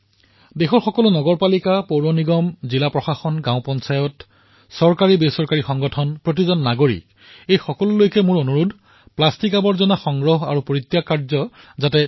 দেশৰ সকলো নগৰপালিকা নগৰ নিগম জিলা প্ৰশাসন গাঁও পঞ্চায়ত চৰকাৰীবেচৰকাৰী সকলো ব্যৱস্থা সকলো সংগঠন প্ৰত্যেকজন নাগৰিকলৈ মোৰ এয়াই অনুৰোধ যে প্লাষ্টিকৰ আৱৰ্জনাৰ সংগ্ৰহ আৰু জমা কৰাৰ বাবে উচিত ব্যৱস্থা হওক